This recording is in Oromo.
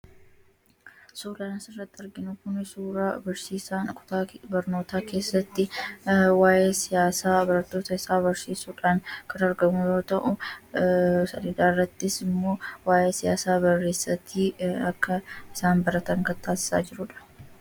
suudhaan sirratti arginkuni suuraa barsiisaan kutaa barnootaa keessatti waa'ee siyaasaa baradootaa isaa barsiisuudhaan kar argamo ta'u salidaarrattis immoo waa’ee siyaasaa bareessatii akka isaan baratan kataassaa jirudha